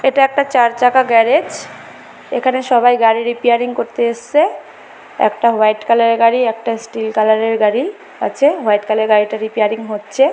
এটা একটা চারচাকা গ্যারাজ । এখানে সবাই গাড়ি রিপেয়ারিং করতে এসেছে। একটা হোয়াইট কালার -এর গাড়ি একটা স্টিল কালার -এর গাড়ি আছে। হোয়াইট কালার -এর গাড়ি টা রিপেয়ারিং হচ্ছে ।